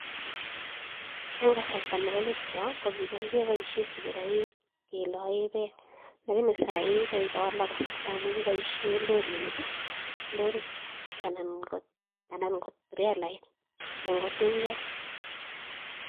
Eng kasarta nebo let yo ko kicham kepoishe sikiriok kelaen beek alakini sai ko kikowalak kasarta amun kipoishen lorinik anan ko trelait anan ko tinget.